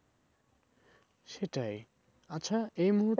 সেটাই আচ্ছা এই মুহূর্তে